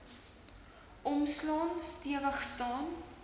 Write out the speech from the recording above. omslaan stewig staan